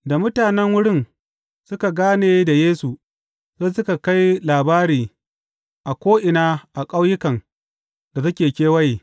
Da mutanen wurin suka gane da Yesu, sai suka kai labari a ko’ina a ƙauyukan da suke kewaye.